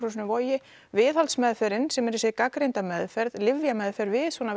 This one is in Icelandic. Vogi sem er þessi gagnreynda meðferð lyfjameðferð við svona